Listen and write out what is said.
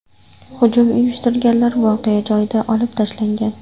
Hujum uyushtirganlar voqea joyida otib tashlangan.